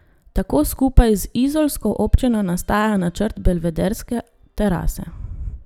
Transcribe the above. Tako skupaj z izolsko občino nastaja načrt Belvederske terase.